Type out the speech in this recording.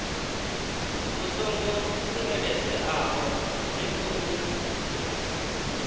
vhu songo tsireledzeaho zwi khou